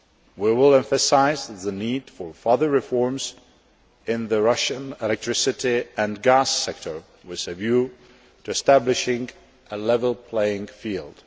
We will emphasise the need for further reforms in the Russian electricity and gas sector with a view to establishing a level playing field.